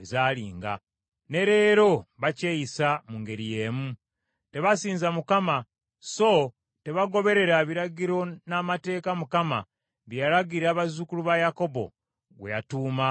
Ne leero bakyeyisa mu ngeri y’emu. Tebasinza Mukama so tebagoberera biragiro n’amateeka Mukama bye yalagira bazzukulu ba Yakobo, gwe yatuuma Isirayiri.